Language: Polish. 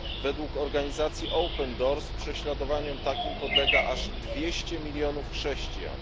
Według organizacji Open Doors prześladowaniom takim podlega aż dwieście milionów chrześcijan.